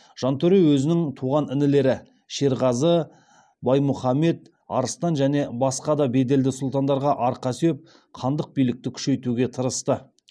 жантөре өзінің туған інілері шерғазы баймұхамед арыстан және басқа беделді сұлтандарға арқа сүйеп хандық билікті күшейтуге тырысты